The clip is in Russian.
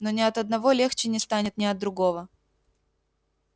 но ни от одного легче не станет ни от другого